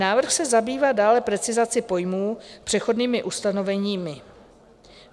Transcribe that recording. Návrh se zabývá dále precizací pojmů, přechodnými ustanoveními.